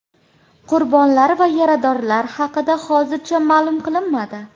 Qurbonlar va yaradorlar haqida hozircha ma’lum qilinmadi.